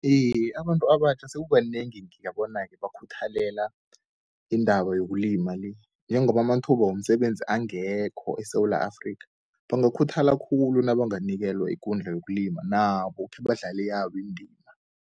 Iye, abantu abatjha sekukanengi ngibabona-ke bakhuthalela indaba yokulima le. Njengoba amathuba womsebenzi angekho eSewula Afrika, bangakhuthala khulu nabanganikelwa ikundla yokulima nabo khebadlale yabo indima.